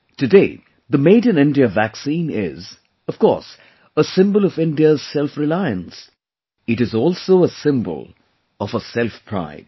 today, the Made in India vaccine is, of course, a symbol of India's selfreliance; it is also a symbol of her selfpride